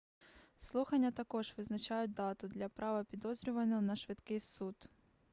слухання також визначають дату для права підозрюваного на швидкий суд